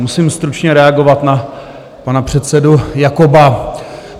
Musím stručně reagovat na pana předsedu Jakoba.